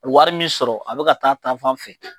Wari min sɔrɔ a bɛ ka taa taafan fɛ.